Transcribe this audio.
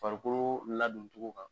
Farikoloo ladontogo kan